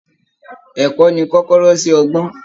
Ẹ̀kọ́ ni kọ́kọ́rọ́ sí ọgbọ́n